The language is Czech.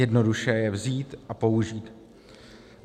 Jednoduše je vzít a použít.